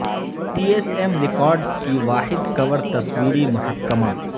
پی S M records کی واحد کور تصویری محکمہ